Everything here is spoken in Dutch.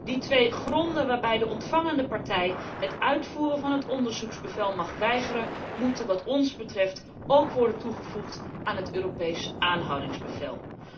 Die twee gronden waarop de ontvangende partij het uitvoeren van het onderzoeksbevel mag weigeren moeten wat ons betreft ook worden toegevoegd aan het Europees aanhoudingsbevel.